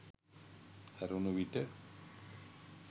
හැරුණු විට